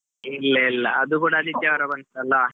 ಇಲ್ಲಾ ಇಲ್ಲಾ, ಅದು ಕೂಡಾ ಆದಿತ್ಯವಾರ ಬಂತಲ್ಲಾ?